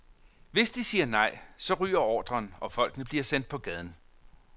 Hvis de siger nej, så ryger ordren, og folkene bliver sendt på gaden.